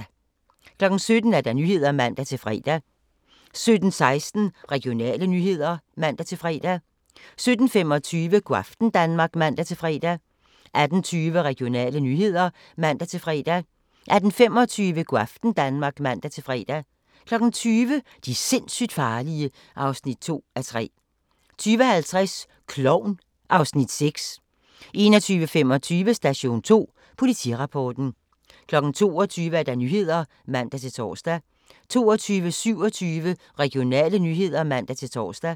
17:00: Nyhederne (man-fre) 17:16: Regionale nyheder (man-fre) 17:25: Go' aften Danmark (man-fre) 18:20: Regionale nyheder (man-fre) 18:25: Go' aften Danmark (man-fre) 20:00: De sindssygt farlige (2:3) 20:50: Klovn (Afs. 6) 21:25: Station 2: Politirapporten 22:00: Nyhederne (man-tor) 22:27: Regionale nyheder (man-tor)